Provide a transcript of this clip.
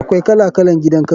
Akwai kala kalan gidan kaso.